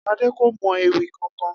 Adé kò mo̩ ewì kankan